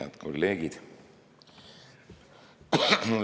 Head kolleegid!